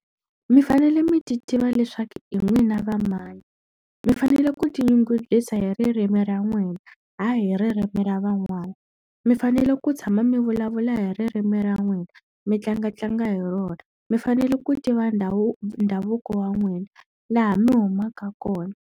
Mi fanele mi ti tiva leswaku hi n'wina va mani. Mi fanele ku tinyungubyisa hi ririmi ra n'wina, hayi hi ririmi ra van'wana. Mi fanele ku tshama mi vulavula hi ririmi ra n'wina, mi tlangatlanga hi rona. Mi fanele ku tiva ndha ndhavuko wa n'wina, laha mi humaka kona.